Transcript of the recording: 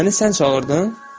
Məni sən çağırdın?